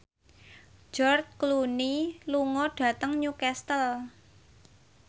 George Clooney lunga dhateng Newcastle